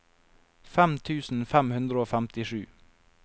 fem tusen fem hundre og femtisju